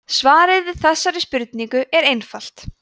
svarið við þessari spurningu er einfalt